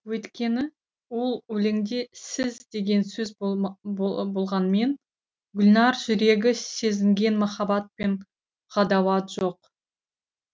өйткені ол өлеңде сіз деген сөз болғанмен гүлнәр жүрегі сезінген махаббат пен ғадауат жоқ